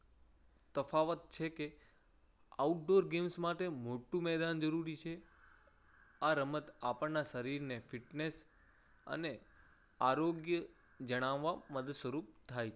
તફાવત છે કે outdoor games માટે મોટું મેદાન જરૂરી છે. આ રમત આપણના શરીરને fitness અને આરોગ્ય જણાવ માં મદદ સ્વરૂપ થાય છે.